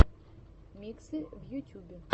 миксы в ютюбе